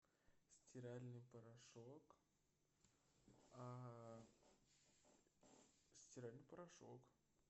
стиральный порошок стиральный порошок